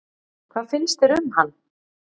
Hvað finnst þér um hann?